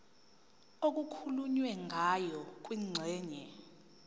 okukhulunywe ngayo kwingxenye